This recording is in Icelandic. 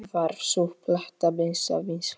Varð sú plata býsna vinsæl.